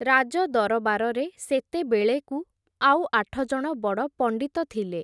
ରାଜଦରବାରରେ, ସେତେବେଳେକୁ ଆଉ ଆଠଜଣ ବଡ଼ ପଣ୍ଡିତ ଥିଲେ ।